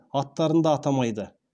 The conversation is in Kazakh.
аттарын да атамайды